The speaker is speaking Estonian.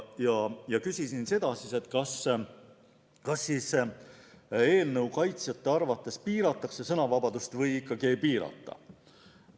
Ma küsisin, kas eelnõu kaitsjate arvates piiratakse sõnavabadust või ikkagi ei piirata.